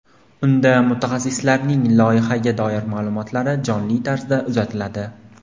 Unda mutaxassislarning loyihaga doir ma’lumotlari jonli tarzda uzatiladi.